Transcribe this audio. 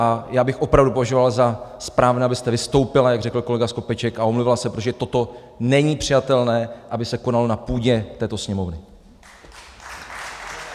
A já bych opravdu považoval za správné, abyste vystoupila, jak řekl kolega Skopeček, a omluvila se, protože toto není přijatelné, aby se konalo na půdě této Sněmovny.